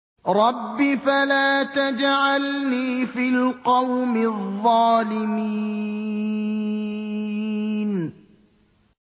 رَبِّ فَلَا تَجْعَلْنِي فِي الْقَوْمِ الظَّالِمِينَ